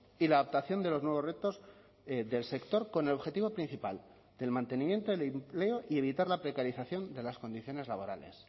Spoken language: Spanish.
y la adaptación de los nuevos retos del sector con el objetivo principal del mantenimiento del empleo y evitar la precarización de las condiciones laborales